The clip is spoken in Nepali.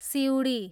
सिँउडी